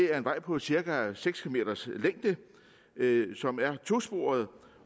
er en vej på cirka seks km som er tosporet